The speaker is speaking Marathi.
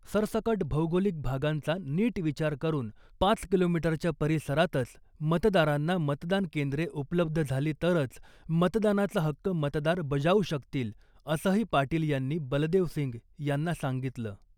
सरसकट भौगोलिक भागांचा नीट विचार करून पाच किलोमीटरच्या परिसरातच मतदारांना मतदान केंद्रे उपलब्ध झाली तरच मतदानाचा हक्क मतदार बजावू शकतील , असंही पाटील यांनी बलदेव सिंग यांना सांगितलं .